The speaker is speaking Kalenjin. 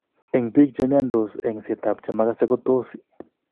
En bik chemiandos, eng'set ab chemagase ko tos